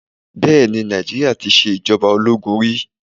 Bẹẹni Nàìjíríà tí ṣe ìjọba ológun rí.